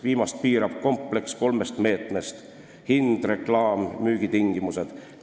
Viimast piirab kompleks kolmest meetmest: hind, reklaam, müügitingimused.